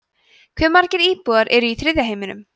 hve margir íbúar eru í þriðja heiminum